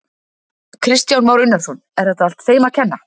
Kristján Már Unnarsson: Er þetta allt þeim að kenna?